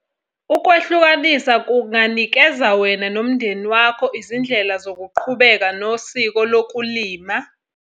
Ukwehlukanisa kunganikeza wena nomndeni wakho izindlela zokuqhubeka nesiko lokulima.